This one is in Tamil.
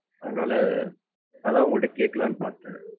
அதுனால அதான் உங்ககிட்ட கேட்கலாம்னு பாத்தேன்.